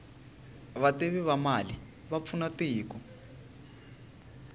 vativi va mali va pfuna tiko